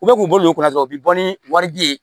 U bɛ k'u bolo kunna dɔrɔn u bɛ bɔ ni wari di ye